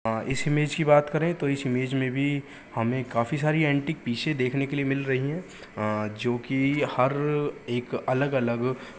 अ इस इमेज की बात करे तो इस इमेज में भी हमें काफी सारी एंटिक पीसे देखने को मिल रही है अ जोकि हर एक अलग-अलग --